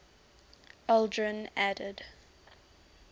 aldrin added